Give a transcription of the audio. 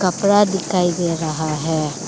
थोड़ा दिखाई दे रहा है।